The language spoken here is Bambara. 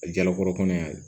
A jalakɔrɔkura ye